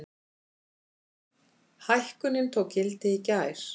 Hækkunin tók gildi í gær.